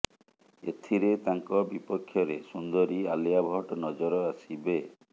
ଏଥିରେ ତାଙ୍କ ବିପକ୍ଷରେ ସୁନ୍ଦରୀ ଆଲିଆ ଭଟ୍ଟ ନଜର ଆସିବେ